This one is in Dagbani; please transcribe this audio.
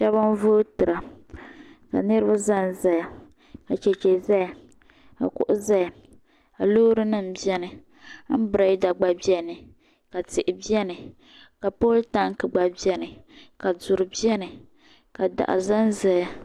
Shebi n vootira. ka niribi zan zaya.ka cheche zaya .ka kuɣu zaya. kalɔɔrinim beni ka am berela nim gba beni ka tihi beni, ka poltank gba beni. ka duri beni. ka daɣu zanzaya